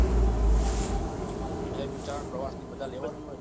એને બિચારાને પ્રવાશની મજા લેવા દેવાય ને